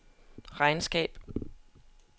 regnskab